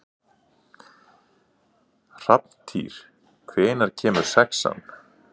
Hrafntýr, hvenær kemur sexan?